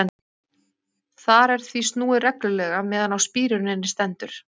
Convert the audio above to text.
Þar er því snúið reglulega meðan á spíruninni stendur.